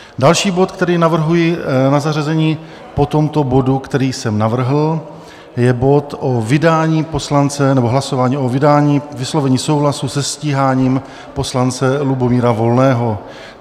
Další bod, který navrhuji na zařazení po tomto bodu, který jsem navrhl, je bod o vydání poslance, nebo hlasování o vydání, vyslovení souhlasu se stíháním poslance Lubomíra Volného.